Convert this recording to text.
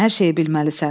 Hər şeyi bilməlisən.